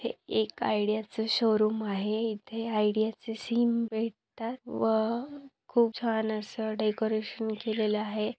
हे एक आडीयाच शोरूम आहे इथे आडीयाचे सीम भेटतात व खूप छान अस डेकोरेशन केलेल आहे.